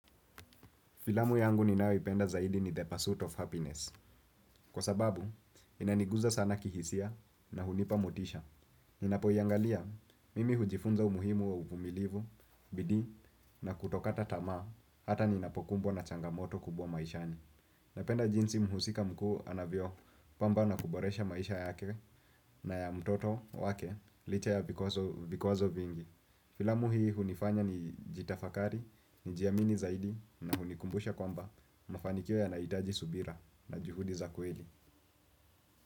Filamu yangu ninayoipenda zaidi ni the pursuit of happiness. Kwa sababu, inaniguza sana kihisia na hunipa motisha. Ninapoiangalia, mimi hujifunza umuhimu wa uvumilivu, bidii, na kutokata tamaa, hata ninapokumbwa na changamoto kubwa maishani. Napenda jinsi mhusika mkuu anavyopamba na kuboresha maisha yake na ya mtoto wake licha ya vikwazo vingi. Filamu hii hunifanya nijitafakari, nijiamini zaidi na hunikumbusha kwamba mafanikio yanaitaji subira na juhudi za kweli.